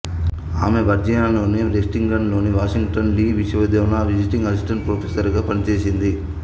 ఆమె వర్జీనియాలోని లెక్సింగ్టన్ లోని వాషింగ్టన్ లీ విశ్వవిద్యాలయంలో విజిటింగ్ అసిస్టెంట్ ప్రొఫెసర్ గా పనిచేసింది